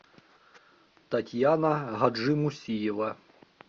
татьяна гаджимусиева